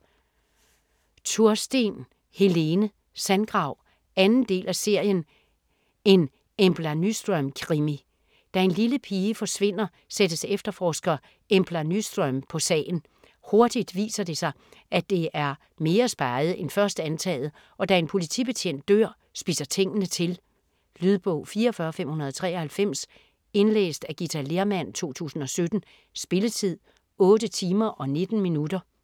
Tursten, Helene: Sandgrav 2. del af serien En Embla Nyström krimi. Da en lille pige forsvinder, sættes efterforsker Embla Nyström på sagen. Hurtigt viser det sig, at det er mere speget end først antaget, og da en politibetjent dør, spidser tingene til. Lydbog 44593 Indlæst af Githa Lehrmann, 2017. Spilletid: 8 timer, 19 minutter.